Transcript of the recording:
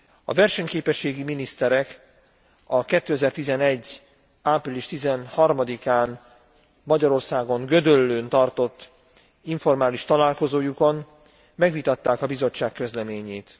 A versenyképességi miniszterek a 2011. április 13 án, Magyarországon, Gödöllőn tartott informális találkozójukon megvitatták a Bizottság közleményét.